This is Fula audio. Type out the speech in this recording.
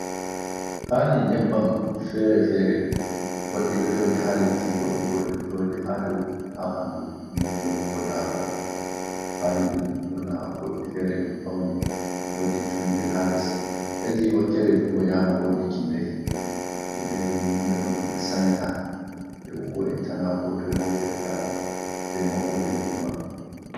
Pali nyebbam fere-fere. Goɗɗi ɗo jooɗi ha leddi, goɗɗi bo ɗo jooɗi ha dou ha ɓandu miro, ko darugal. Pali ɗin ɓurna goɗɗi fere ɗum faune, wodi tummude ha les. Hedi wakkere jungo nyamo, wodi kindahi. Kindahi ni hunde on ɗum ɓe sanyata, ɓe wo'inta na ko toi bo keɓataɗum, be maɓɓode mum ɗo maɓɓi.